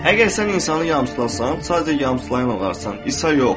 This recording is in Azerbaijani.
Əgər sən insanı yamsılasan, sadəcə yamsılayan olarsan, İsa yox.